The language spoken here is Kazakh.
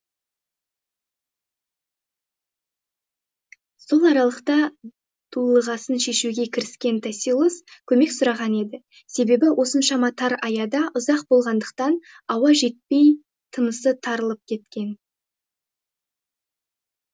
сол аралықта дулығасын шешуге кіріскен тосилос көмек сұраған еді себебі осыншама тар аяда ұзақ болғандықтан ауа жетпей тынысы тарылып кеткен